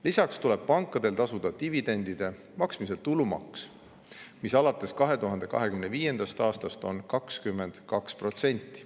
Lisaks tuleb pankadel tasuda dividendide maksmisel tulumaks, mis alates 2025. aastast on 22%.